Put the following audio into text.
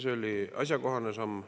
See oli asjakohane samm.